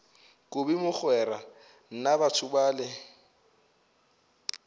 kobi mogwera na batho bale